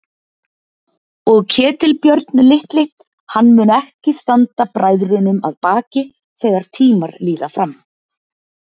Og Ketilbjörn litli, hann mun ekki standa bræðrunum að baki þegar tímar líða fram.